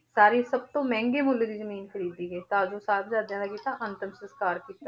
ਸਾਰੀ ਸਭ ਤੋਂ ਮਹਿੰਗੇ ਮੁੱਲ ਦੀ ਜ਼ਮੀਨ ਖ਼ਰੀਦੀ ਗਈ ਤਾਂ ਜੋ ਸਾਹਿਬਜ਼ਾਦਿਆਂ ਦਾ ਅੰਤਮ ਸੰਸਕਾਰ ਕੀਤਾ